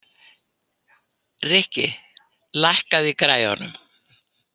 Rikki, lækkaðu í græjunum.